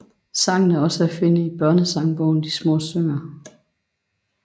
Sangen er også at finde i børnesangbogen De små synger